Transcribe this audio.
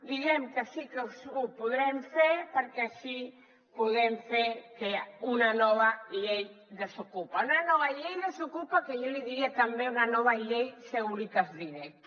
diguem que sí que ho podrem fer perquè així podem fer una nova llei desocupa una nova llei desocupa que jo li diria també una nova llei securitas direct